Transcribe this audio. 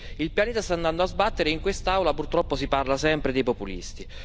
Quindi il pianeta sta andando a sbattere e in quest'Aula, purtroppo, si parla sempre dei populisti.